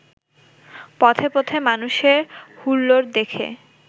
পথে পথে মানুষের হুল্লোড় দেখে